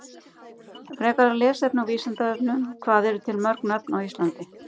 Frekara lesefni á Vísindavefnum Hvað eru til mörg nöfn á Íslandi?